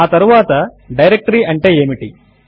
ఆ తరువాత డైరెక్టరీ అంటే ఏమిటి